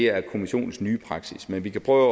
er kommissionens nye praksis men vi kan prøve